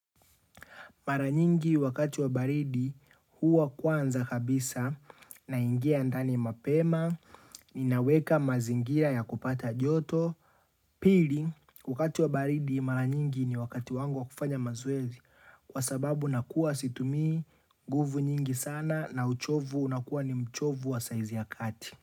Mara nyingi wakati wa baridi huwa kwanza kabisa na ingia andani mapema, ninaweka mazingira ya kupata joto. Pili, wakati wa baridi mara nyingi ni wakati wangu wa kufanya mazoezi kwa sababu nakua situmi nguvu nyingi sana na uchovu unakuwa ni uchovu wa saizi ya kati.